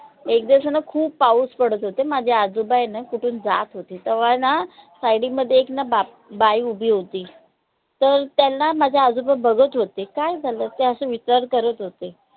एक दिवस आहे न खूप पाऊस पडत होता. माझे आजोबा आय न कुठून जात होते तवा आय ना side डी मध्ये एक ना बा बाई उभी होती ते त्यांला माझे आजोबा बघत होते काय झालं? ते अशे विचार करत होते.